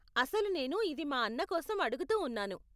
అసలు నేను ఇది మా అన్న కోసం ఆడుగుతూ ఉన్నాను.